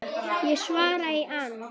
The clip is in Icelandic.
Ég svara í ann